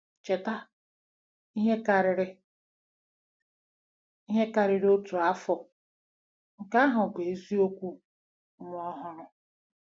Cheta, ihe karịrị ihe karịrị otu afọ, nke ahụ bụ eziokwu nwa ọhụrụ.